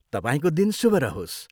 तपाईँको दिन शुभ रहोस्।